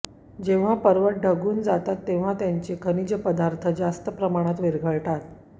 जेव्हा पर्वत ढगून जातात तेव्हा त्यांच्या खनिज पदार्थांची जास्त प्रमाणात विरघळते